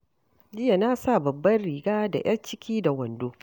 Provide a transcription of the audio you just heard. Jiya na sa babbar riga da ƴar ciki da wando.